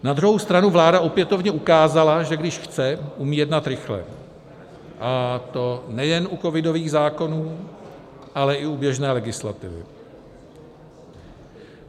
Na druhou stranu vláda opětovně ukázala, že když chce, umí jednat rychle, a to nejen u covidových zákonů, ale i u běžné legislativy.